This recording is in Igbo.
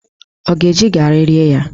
Ọ ga-eji garị rie ya?